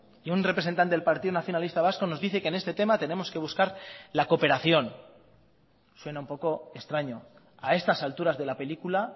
y un representante del partido nacionalista vasco nos dice que en este tema tenemos que buscar la cooperación suena un poco extraño a estas alturas de la película